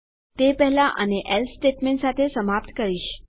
તે પહેલા આને એલ્સે સ્ટેટમેંટ સાથે સમાપ્ત કરીશ